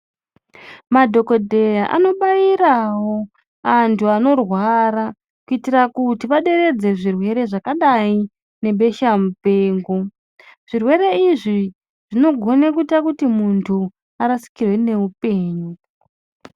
Madhokodhera anobaitawo antu anorwara kuitira kuti vaderedze zvirwere zvakadai nebesha mupengo, zvirwere izvi zvinogona kuita kuti muntu arasikirwe nehupenyu.